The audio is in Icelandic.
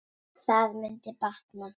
Það mundi batna.